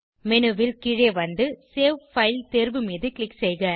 menu ல் கீழே வந்து சேவ் பைல் தேர்வு மீது க்ளிக் செய்க